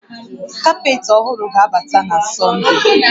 Kapetị ọhụrụ ga-abata na Sọnde